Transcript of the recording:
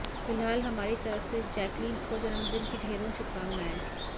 फिलहाल हमारी तरफ से जैकलीन को जन्मदिन की ढेरों शुभकामनाएं